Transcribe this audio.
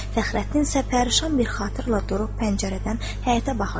Fəxrəddinsə pərişan bir xatırlə durub pəncərədən həyətə baxırdı.